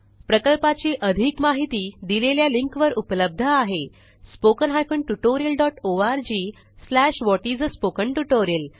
प्रकल्पाची अधिक माहिती दिलेल्या लिंकवर उपलब्ध आहेspoken tutorialorgwhat is a spoken tutorial